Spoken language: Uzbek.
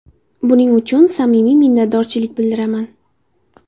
Buning uchun samimiy minnatdorchilik bildiraman.